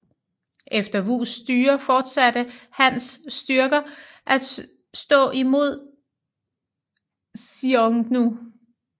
Efter Wus styre fortsatte Hans styrker at stå imod Xiongnu